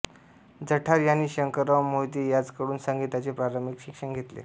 जठार यांनी शंकरराव मोहिते यांजकडून संगीताचे प्रारंभिक शिक्षण घेतले